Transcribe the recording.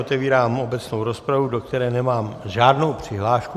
Otevírám obecnou rozpravu, do které nemám žádnou přihlášku.